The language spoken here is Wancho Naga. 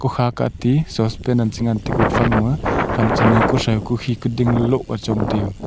ku kha kahti sospen an chengan te gufang ma ku thrau ku khi kuding loh achong tiu.